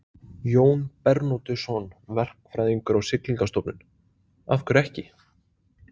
Jón Bernódusson, verkfræðingur á Siglingastofnun: Af hverju ekki?